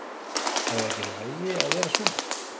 Er það ekki í lagi að vera svona?